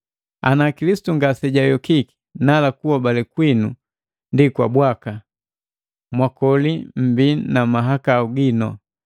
Ana Kilisitu ngasejayokiki, nala kuhobale kwinu ndi bwaka, mwakoli mmbii na mahakau gino.